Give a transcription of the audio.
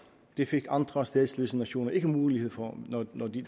det fik andre statsløse nationer ikke mulighed for når